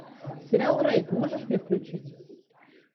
сериал рейд можешь мне включить